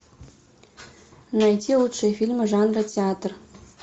найти лучшие фильмы жанра театр